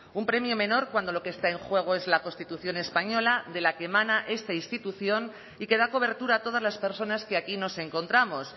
un premio menor cuando lo que está en juego es la constitución española de la que emana esta institución y que da cobertura a todas las personas que aquí nos encontramos